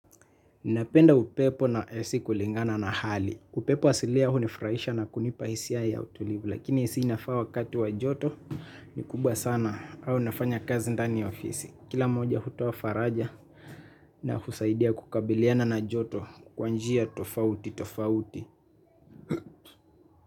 Ninapenda upepo na ac kulingana na hali. Upepo wasiliya hunifuraisha na kunipa hisia ya utulivu. Lakini ac inafaa wakatu wa joto. Nikubwa sana. Au nafanya kazi ndani ya ofisi. Kila moja hutoa faraja. Na husaidia kukabiliana na joto. Kwanjia tofauti tofauti.